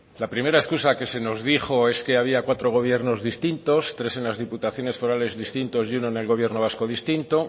la primera excusa que se nos dijo es que había cuatro gobiernos distintos tres en las diputaciones forales distintos y uno en el gobierno vasco distinto